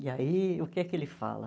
E aí, o que é que ele fala?